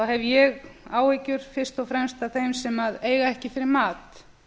hef ég áhyggjur fyrst og fremst af þeim sem eiga ekki fyrir mat